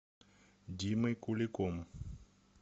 димой куликом